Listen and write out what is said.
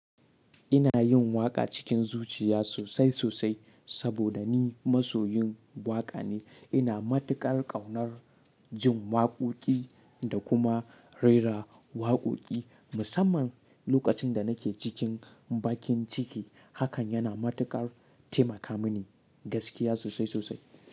Ina yin waƙa cikin zuciya sosai sosai saboda ni masoyin waƙa ne. Ina matukar ƙaunar jin waƙoƙi da kuma rera waƙoƙi. Musamman lokacin da nake cikin bakin ciki, hakan yana matukar taimaka mini gaskiya sosai sosai.